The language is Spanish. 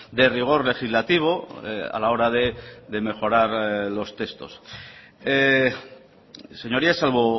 de rigor legislativo a la hora de mejorar los textos señorías salvo